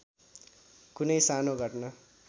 कुनै सानो घटना